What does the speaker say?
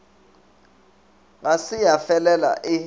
ga se ya felela e